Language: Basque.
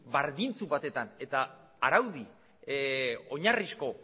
berdintsu batean eta araudi oinarrizko